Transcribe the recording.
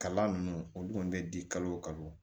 Kalan ninnu olu kɔni bɛ di kalo o kalo